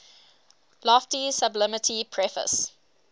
lofty sublimity preface